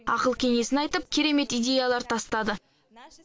ақыл кеңесін айтып керемет идеялар тастады